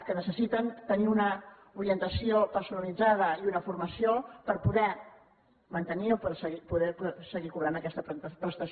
que necessiten tenir una orientació personalitzada i una formació per poder mantenir o per poder seguir cobrant aquesta prestació